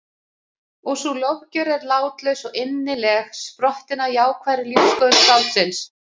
Og sú lofgjörð er látlaus og innileg, sprottin af jákvæðri lífsskoðun skáldsins.